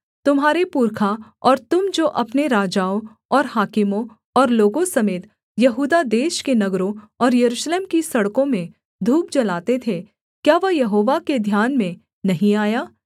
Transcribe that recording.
तुम्हारे पुरखा और तुम जो अपने राजाओं और हाकिमों और लोगों समेत यहूदा देश के नगरों और यरूशलेम की सड़कों में धूप जलाते थे क्या वह यहोवा के ध्यान में नहीं आया